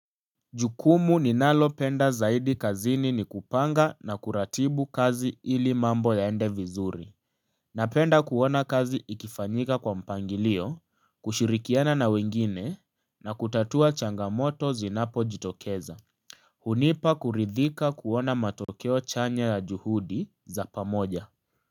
Jukumu ninalo penda zaidi kazini ni kupanga na kuratibu kazi ili mambo ya ende vizuri Napenda kuona kazi ikifanyika kwa mpangilio kushirikiana na wengine na kutatua changamoto zinapo jitokeza hunipa kuridhika kuona matokeo chanya ya juhudi za pamoja.